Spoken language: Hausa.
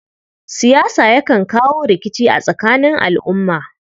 Siyasa yakan kawo rikici a tsakanin al'umma.